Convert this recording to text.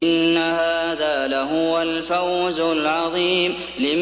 إِنَّ هَٰذَا لَهُوَ الْفَوْزُ الْعَظِيمُ